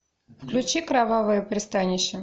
включи кровавое пристанище